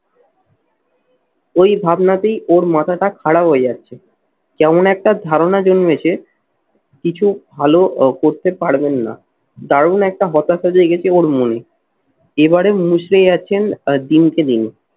ওই ভাবনাতেই ওর মাথাটা খারাপ হয়ে যাচ্ছে। কেমন একটা ধারণা জন্মেছে কিছু ভালো করতে পারবেন না দারুণ একটা হতাশা জেগেছে ওর মনে। এবারে মুচড়ে যাচ্ছেন আর দিনকে দিন।